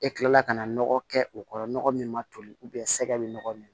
E kilala ka na nɔgɔ kɛ o kɔrɔ nɔgɔ min ma toli sɛgɛ be nɔgɔ min na